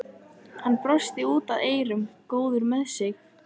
Hann brosti út að eyrum, góður með sig.